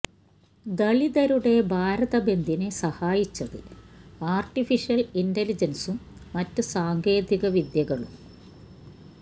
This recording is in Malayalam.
ദളിതരുടെ ഭാരത ബന്ദിനെ സഹായിച്ചത് ആര്ട്ടിഫിഷ്യല് ഇന്റലിജന്സും മറ്റ് സാങ്കേതിക വിദ്യകളും